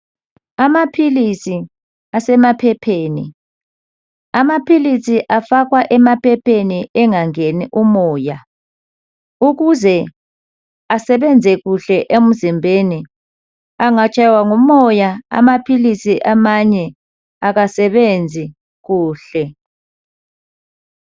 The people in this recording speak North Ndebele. Amaphilisi asemaphepheni amaphilisi afakwa emaphepheni engangeni umoya ukuze asebenze kuhle emzimbeni engatshaywa ngumoya amaphilisi amanye akasebenzi kuhle.